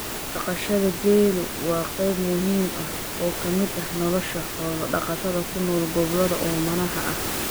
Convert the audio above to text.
Dhaqashada geelu waa qayb muhiim ah oo ka mid ah nolosha xoolo-dhaqatada ku nool gobollada oomanaha ah.